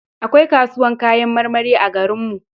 Akwai kasuwar kayan marmari a garinmu.